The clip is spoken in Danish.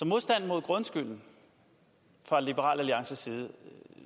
modstanden mod grundskylden fra liberal alliances side